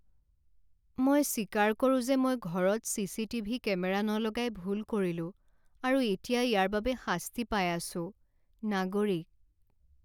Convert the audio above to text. মই স্বীকাৰ কৰোঁ যে মই ঘৰত চি চি টিভি কেমেৰা নলগাই ভুল কৰিলোঁ আৰু এতিয়া ইয়াৰ বাবে শাস্তি পাই আছোঁ। নাগৰিক